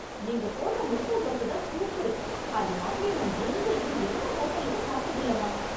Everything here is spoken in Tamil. நீங்க போட்ற முட்ட தோசைதான் சூப்பரு... அது மாதிரி நா எங்கேயும் எந்த ஹோட்டல்லயும் சாப்ட்டதில்லமா